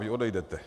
Vy odejdete.